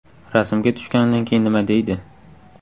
Rasmga tushganidan keyin nima deydi?.